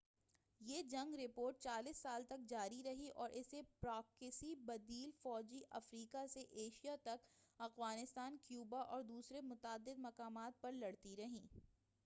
یہ جنگ رپورٹ 40 سال تک جاری رہی اور اسے پراکسی بدیل فوجیں افریقہ سے ایشیا تک، افغانستان، کیوبا اور دوسرے متعدد مقامات پر لڑتی رہیں۔